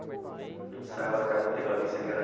A gente ensaiava lá na casa de um tecladista que era